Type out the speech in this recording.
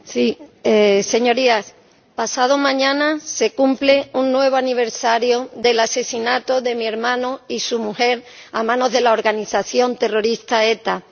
Señor Presidente, Señorías, pasado mañana se cumple un nuevo aniversario del asesinato de mi hermano y su mujer a manos de la organización terrorista ETA.